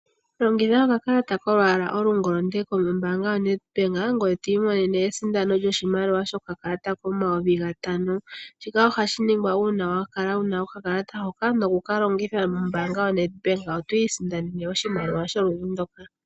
Longitha okakalata kolwaala olungolonde yoNedbank, ngiye twiimonene esindono lyokakalata koondola omayovi gatano. Ohashi ningwa uuna wakala wuna okakalata hoka nokukalongitha mombaanga yoNedbank, otwi isindanene oshimaliwa sholudhi ndoka.